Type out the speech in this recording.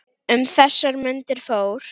Um þessar mundir fór